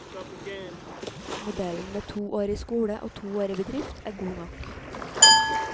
Modellen med to år i skole og to år i bedrift er god nok.